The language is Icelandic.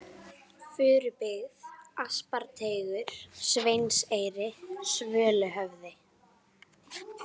Furubyggð, Asparteigur, Sveinseyri, Svöluhöfði